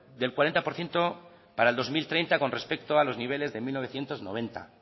del cuarenta por ciento para el dos mil treinta con respecto a los niveles de mil novecientos noventa